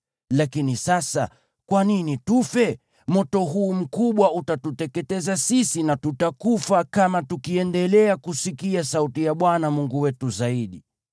Lakini sasa, kwa nini tufe? Moto huu mkubwa utatuteketeza sisi na tutakufa kama tukiendelea kusikia sauti ya Bwana Mungu wetu zaidi.